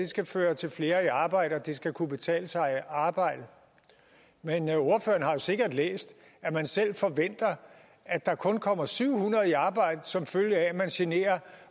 skal føre til flere i arbejde og at det skal kunne betale sig at arbejde men ordføreren har sikkert læst at man selv forventer at der kun kommer syv hundrede i arbejde som følge af at man generer